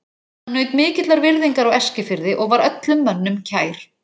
Hann naut mikillar virðingar á Eskifirði og var öllum mönnum kær.